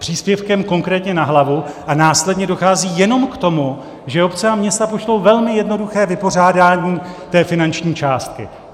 Příspěvkem konkrétně na hlavu a následně dochází jenom k tomu, že obce a města pošlou velmi jednoduché vypořádání té finanční částky.